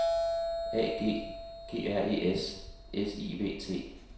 A G G R E S S I V T